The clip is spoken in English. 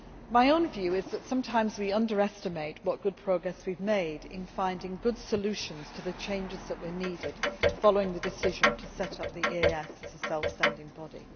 My own view is that sometimes we underestimate what good progress we have made in finding good solutions to the changes that were needed following the decision to set up the EEAS as a self standing body.